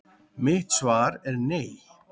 Mitt svar er nei!